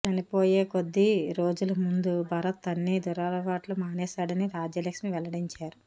చనిపోయే కొద్ది రోజుల ముందు భరత్ అన్ని దురలవాట్లు మానేశాడని రాజ్యలక్ష్మి వెల్లడించారు